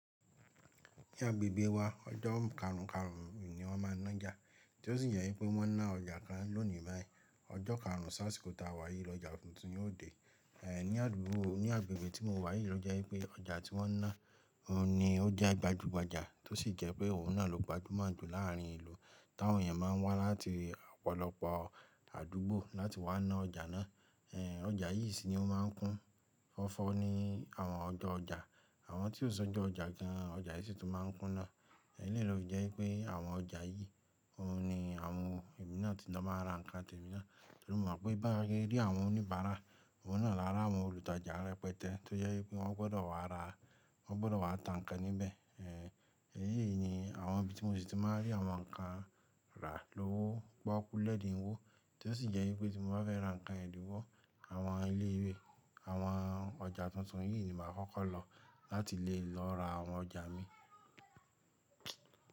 Ní agbègbè wa ọjọ́ karùn karùn ni wọ́n ma ń nájà, tí ó sì jẹ́ pé wọ́n ná ọjà kan lónìí bayii. Ọjọ́ karùn sásìkò táa wàyí lọ́jà tuntun yóò dé. Eh ní àdúgbò, ní agbègbè tí mo wà yìí ló jẹ́ pé ọjà tí wọ́n ná òun ni ó jẹ́ gbajúgbajà, tó sì jẹ́ pé òun náà ló gbajúmọ̀ jù láàrin ìlú. Táwọn èèyàn máa ń wá láti ọ̀pọ̀lọpọ̀ àdúgbò láti wá ná ọjà náà. Eh ọjà yìí sì ni ó máa ń kún fọ́fọ́ ní àwọn ọjọ́ ọjà. Àwọn tí ó sọ ẹjọ́ ọjà kan, ọjà yìí sì tó máa ń kún na. Na fi jẹ́ wipé àwọn ọjà yìí òun ni àwọn èmi náà ti máa ń ra ǹkan tó ti mọ̀ pé bá rí àwọn oníbàárà, òun náà lára àwọn olùtajà rẹpẹtẹ, tó jẹ́ pé wọ́n gbọ́dọ̀ wá ra, wọ́n gbọ́dọ̀ wá ta ǹkan níbẹ̀. Eh èyí yìí ni àwọn ibi tí mo sì ti máa rí àwọn ǹkan rà lọ́wọ́, pokù lẹ́dìnwọ́, tí ó sì jẹ́ wípé tí mo bá fẹ́ ra ǹkan ẹ̀dínwó, àwọn ilé ìwé, àwọn ọjà tuntun yìí ni màá kọ́kọ́ lọ láti lè lọ ra àwọn ọjà mi.